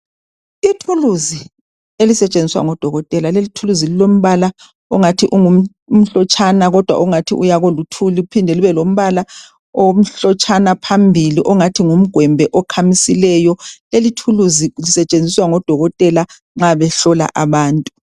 ithuluzi elisetshenziswa ngodokotela leli ithuluzi lilombala ongathi umhlotshana kodwa ongathi uya koluthuli liphinde libe lombala omhlotshana phambili ongathi ngumgwembe okhamisileyo leli thuluzi lisetshenziswa ngo dokotela nxa behlola abantu